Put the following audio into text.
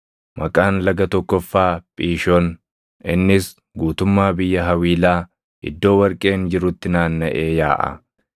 Maqaan laga tokkoffaa Phiishoon; innis guutummaa biyya Hawiilaa, iddoo warqeen jirutti naannaʼee yaaʼa.